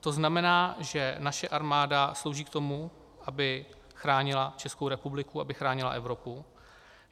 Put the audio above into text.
To znamená, že naše armáda slouží k tomu, aby chránila Českou republiku, aby chránila Evropu.